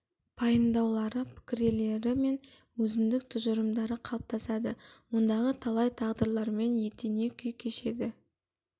пайымдаулары пікірелері мен өзіндік тұжырымдары қалыптасады ондағы талай тағдырлармен етене күй кешеді